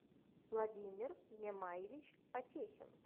владимир мемаевич потехин